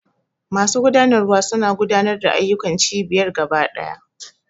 Masu gudanarwa suna gudanar da ayyukan cibiyar gaba ɗaya.